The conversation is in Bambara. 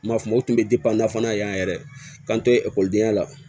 N m'a fɔ o tun bɛ nafolo fana ye yan yɛrɛ k'an to ekɔlidenya la